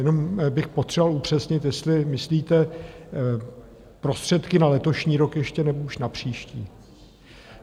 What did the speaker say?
Jenom bych potřeboval upřesnit, jestli myslíte prostředky na letošní rok ještě, nebo už na příští?